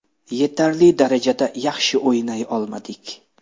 Yetarli darajada yaxshi o‘ynay olmadik.